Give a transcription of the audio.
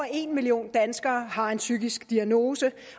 en million danskere har en psykisk diagnose